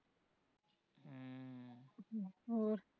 ਹੋਰ